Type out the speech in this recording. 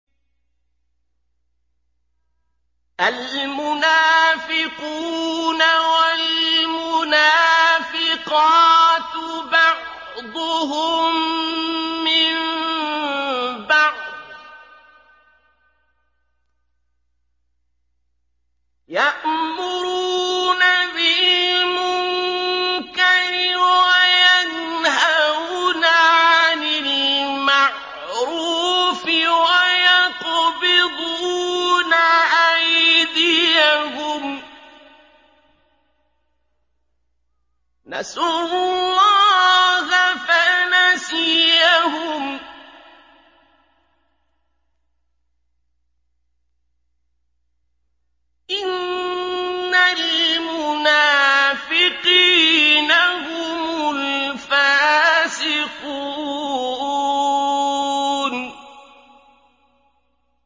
الْمُنَافِقُونَ وَالْمُنَافِقَاتُ بَعْضُهُم مِّن بَعْضٍ ۚ يَأْمُرُونَ بِالْمُنكَرِ وَيَنْهَوْنَ عَنِ الْمَعْرُوفِ وَيَقْبِضُونَ أَيْدِيَهُمْ ۚ نَسُوا اللَّهَ فَنَسِيَهُمْ ۗ إِنَّ الْمُنَافِقِينَ هُمُ الْفَاسِقُونَ